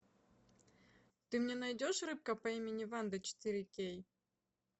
ты мне найдешь рыбка по имени ванда четыре кей